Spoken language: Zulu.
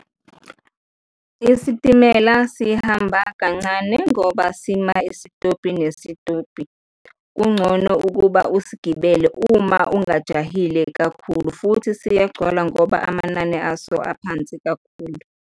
Isitimela sihamba kancane ngoba sima isitobhi nesitobhi. Kungcono ukuba usigibele uma ungajahile kakhulu futhi siyagcwala ngoba amanani aso aphansi kakhulu.